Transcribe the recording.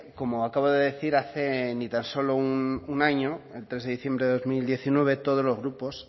como acabo de decir hace ni tan solo un año el tres de diciembre de dos mil diecinueve todos los grupos